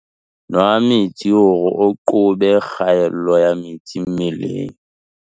Nwa metsi hore o qobe kgaello ya metsi mmeleng.